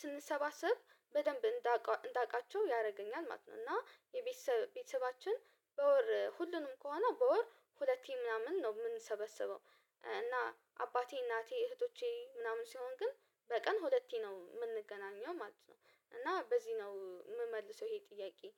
ስንሰባሰብ በደንብ እንዳውቃቸው ያደርገኛል ማለት ነው እና ቤተሰባችን በወር ሁሉንም ከሆነ በወር ሁለቴ ምናምን ነው የምንሰበሰበው። እና አባቴ እናቴ እህቶቼ ምናምን ሲሆን ግን በቀን ሁለቴ ነው የምንገናኘው ማለት ነው። እና በዚህ ነው የምመልሰው ይሄን ጥያቄ